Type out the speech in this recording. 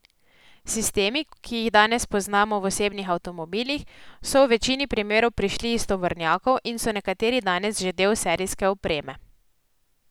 Sistemi, ki jih danes poznamo v osebnih avtomobilih, so v večini primerov prišli iz tovornjakov in so nekateri danes že del serijske opreme.